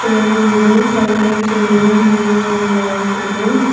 Table ಇದೆ ಸೈಡಲ್ ಚೇರಿದೆ ಮೇಲೆ ಒಂದು ಲೈಟ್ ಇದೆ.